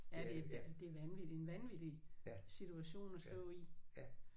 Ja det er det er vanvittigt en vanvittig situation at stå i